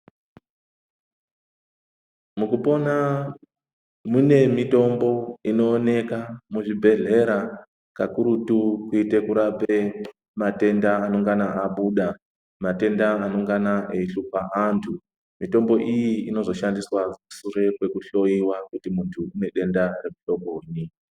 Mukupona mune mitombo inooneka muzvibhedhlera kakurutu kuite kurape matenda anongana abuda. Matenda anongana eihlupa antu mitombo iyi inozoshandiswa sure kwekuhloiwa kuti muntu unedenda remuhlobonyi.